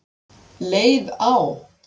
leið á.